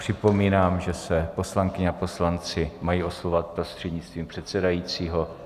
Připomínám, že se poslankyně a poslanci mají oslovovat prostřednictvím předsedajícího.